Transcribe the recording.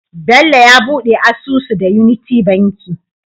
Bello ya buɗe asusu da unity banki